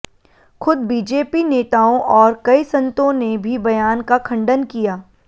खुद बीजेपी नेताओं और कई संतों ने भी बयान का खंडन किया